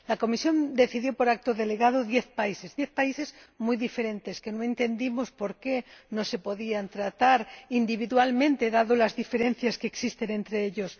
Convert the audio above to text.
La Comisión decidió, mediante acto delegado, incluir a diez países, diez países muy diferentes que no entendimos por qué no se podían tratar individualmente, dadas las diferencias que existen entre ellos.